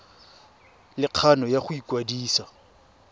le kgano ya go ikwadisa